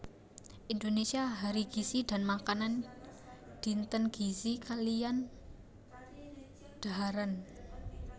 Indonesia Hari Gizi dan Makanan Dinten Gizi kaliyan Dhaharan